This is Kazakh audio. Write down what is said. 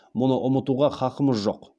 мұны ұмытуға хақымыз жоқ